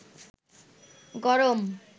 গরম